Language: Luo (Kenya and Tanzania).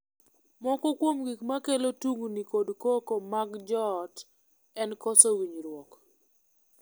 Moko kuom gik ma kelo tungni kod koko mag joot en koso winjruok.